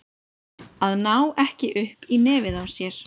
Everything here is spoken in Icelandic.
Að ná ekki upp í nefið á sér